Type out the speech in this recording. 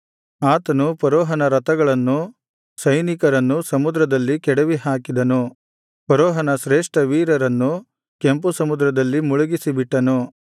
ಆತನು ಫರೋಹನ ರಥಗಳನ್ನೂ ಸ್ಯೆನಿಕರನ್ನೂ ಸಮುದ್ರದಲ್ಲಿ ಕೆಡವಿಹಾಕಿದನು ಫರೋಹನ ಶ್ರೇಷ್ಠ ವೀರರನ್ನು ಕೆಂಪುಸಮುದ್ರದಲ್ಲಿ ಮುಳುಗಿಸಿ ಬಿಟ್ಟನು